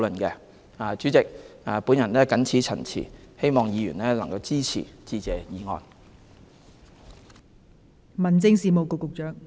代理主席，我謹此陳辭，希望議員支持致謝議案。